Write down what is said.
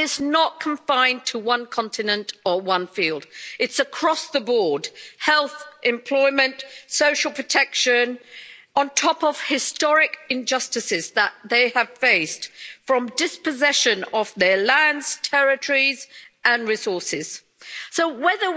Madam President, systematic and institutional discrimination against indigenous people is alive and well, and it's not confined to one continent or one field, it's across the board health, employment, social protection, on top of historic injustices that they have faced from dispossession of their lands, territories and resources. So